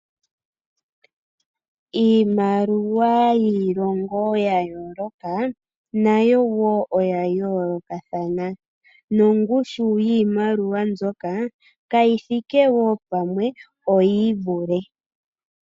Iimaliwa yiilongo ya yooloka, nayo wo oya yoolokathana, nongushu yiimaliwa mbyoka kayi thike wo pamwe oyi ivule.